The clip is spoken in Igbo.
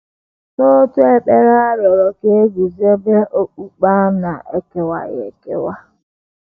N’otu ekpere a rịọrọ ka e guzobe “ okpukpe a na - ekewaghị ekewa. ”